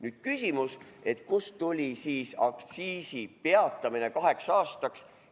Nüüd küsimus, kust tuli mõte aktsiis peatada kaheks aastaks.